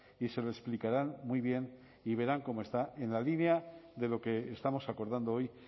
y se lo explicaran muy bien y verán cómo está en la línea de lo que estamos acordando hoy